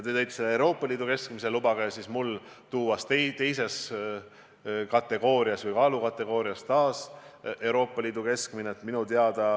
Te tõite selle Euroopa Liidu keskmise, lubage siis mul tuua teises kaalukategoorias taas Euroopa Liidu keskmine.